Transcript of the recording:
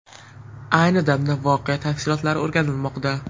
Ayni damda voqea tafsilotlari o‘rganilmoqda.